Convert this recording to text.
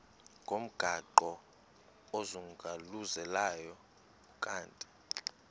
ngomgaqo ozungulezayo ukanti